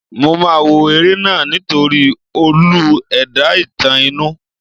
Mo máa wo eré náà nítorí olú ẹ̀dá-ìtàn inú ẹ̀.